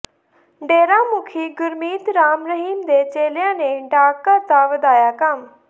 ਡੇਰਾ ਮੁਖੀ ਗੁਰਮੀਤ ਰਾਮ ਰਹੀਮ ਦੇ ਚੇਲਿਆਂ ਨੇ ਡਾਕਘਰ ਦਾ ਵਧਾਇਆ ਕੰਮ